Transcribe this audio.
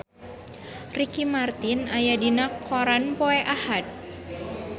Ricky Martin aya dina koran poe Ahad